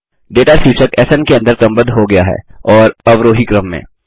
data शीर्षक स्न के अंदर क्रमबद्ध हो गया है और अवरोही क्रम में